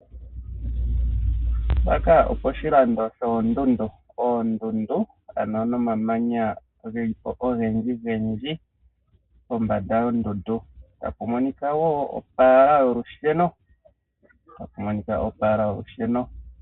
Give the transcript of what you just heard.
Mpaka oposhilando shoondundu, oondundu ano nomamanya ge li po ogendji gendji kombanda yondundu, tapu monika wo opaala yolusheno.